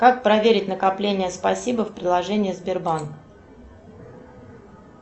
как проверить накопления спасибо в приложении сбербанк